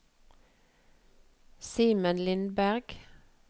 Simen Lindberg